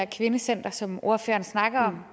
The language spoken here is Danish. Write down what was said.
kvindecenter som ordføreren snakker om